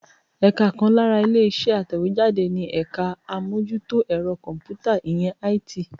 Ẹ̀ka kan lára ilé-iṣẹ́ atẹ̀wéjáde ni ẹ̀ka àmójútó ẹ̀rọ kọ̀m̀pútà, ìyẹn IT.